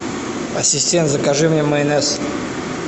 ассистент закажи мне майонез